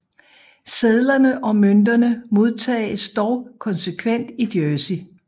Sedlerne og mønterne modtages dog konsekvent i Jersey